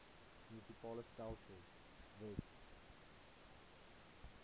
munisipale stelsels wet